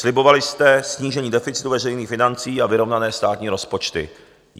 Slibovali jste snížení deficitu veřejných financí a vyrovnané státní rozpočty.